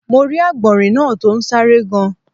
Mo rí Àgbọ̀nrín náa to n sáré gan